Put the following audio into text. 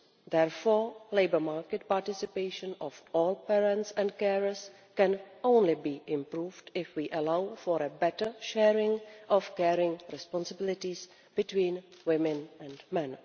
Therefore, labour market participation of all parents and carers can only be improved if we allow for a better sharing of caring responsibilities between women and men.